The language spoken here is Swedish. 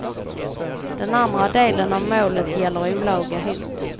Den andra delen av målet gäller olaga hot.